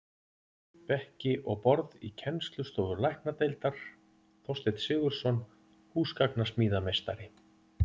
Bekki og borð í kennslustofur læknadeildar: Þorsteinn Sigurðsson, húsgagnasmíðameistari.